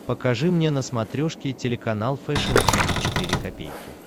покажи мне на смотрешке телеканал фэшн ти ви четыре ка